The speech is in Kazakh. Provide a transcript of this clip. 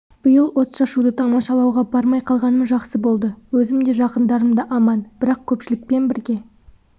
биыл отшашуды тамашалауға бармай қалғаным жақсы болды өзім де жақындарым да аман бірақ көпшілікпен бірге